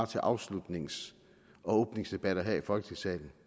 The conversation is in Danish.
til afslutningsdebatter og åbningsdebatter her i folketingssalen